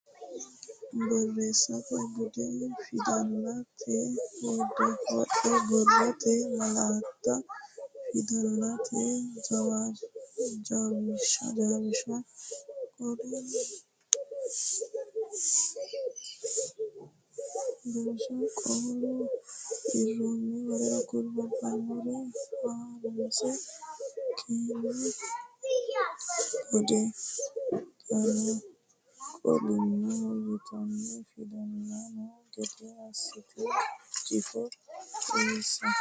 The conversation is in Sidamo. Borreessate Bude fidalsate wodho borrote malaatta fidalete jawishsha qaalu eronna w k l Ha runsi keeno Boode qaalla qaalunni yitanni fidalsitanno gede assite jifo uynsa.